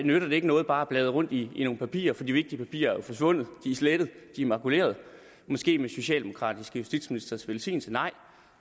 nyttede det ikke noget bare at bladre rundt i nogle papirer for de vigtige papirer er jo forsvundet de er slettet de er makuleret måske med socialdemokratiske justitsministres velsignelse nej